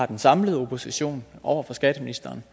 den samlede opposition over for skatteministeren